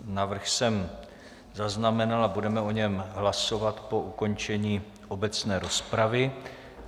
Návrh jsem zaznamenal a budeme o něm hlasovat po ukončení obecné rozpravy.